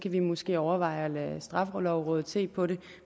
vi måske overveje at lade straffelovrådet se på det